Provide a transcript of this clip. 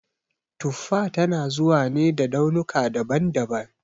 Tuffa tana zuwa ne da launuka daban daban